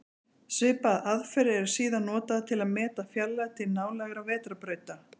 Svipaðar aðferðir eru síðan notaðar til að meta fjarlægð til nálægra vetrarbrauta.